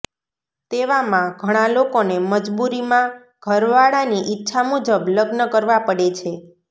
તેવામાં ઘણા લોકોને મજબુરીમાં ઘર વાળાની ઈચ્છા મુજબ લગ્ન કરવા પડે છે